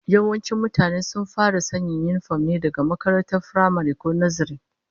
Yawancin mutane sun fara sanya yinifom ne daga makarantar firamare, ko nazare